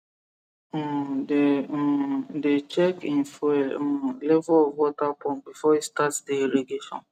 um dey um dey check hin fuel um level of water pump before he start the irrigation